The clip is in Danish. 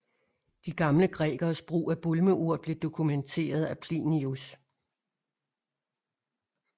De gamle grækeres brug af bulmeurt blev dokumenteret af Plinius